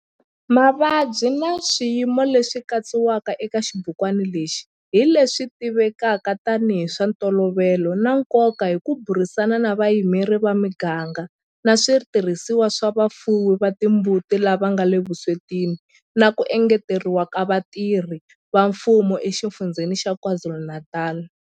Mavabyi na swiyimo leswi katsiwaka eka xibukwana lexi hi leswi tivivwaka tanihi hi swa ntolovelo na nkoka hi ku burisana na vayimeri va miganga na switirhisiwa swa vafuwi va timbuti lava nga le vuswetini na ku engeteriwa ka vatirhi va mfumo eXifundzheni xa KwaZulu-Natal.